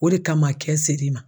O de kama kɛn sɛri ma.